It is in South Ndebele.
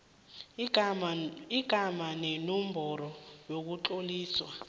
igama nenomboro yokutloliswa